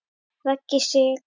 Raggi Sig.